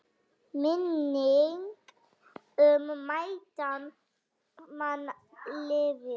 Minning um mætan mann lifir.